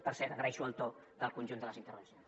per cert agraeixo el to del conjunt de les intervencions